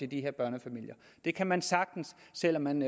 de her børnefamilier og det kan man sagtens selv om man